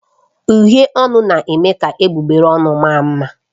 Uhiè ọnụ na eme ka egbugbere ọnụ maa mma.